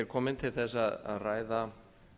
komin til að ræða